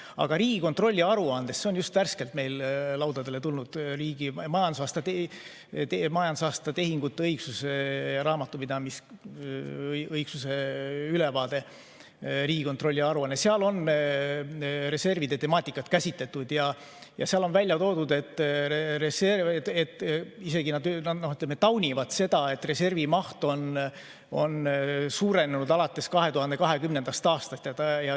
Aga Riigikontrolli aruandes, mis on just värskelt meie laudadele tulnud – see on riigi majandusaasta tehingute raamatupidamisliku õigsuse ülevaade –, on reservide temaatikat käsitletud ja seal on välja toodud, et nad isegi taunivad seda, et reservi maht on alates 2020. aastast suurenenud.